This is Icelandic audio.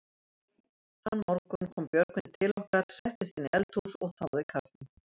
Þann morgun kom Björgvin til okkar, settist inn í eldhús og þáði kaffi.